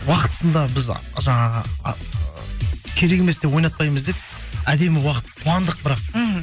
уақытысында біз жаңағы ы керек емес деп ойнатпаймыз деп әдемі уақыт қуандық бірақ мхм